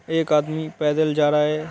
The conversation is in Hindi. एक आदमी पैदल जा रहा है।